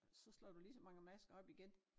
Så slår du lige så mange masker op igen